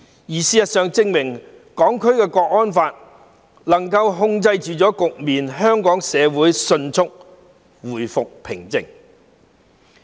事實證明，《香港國安法》能夠控制局面，令香港社會迅速回復平靜。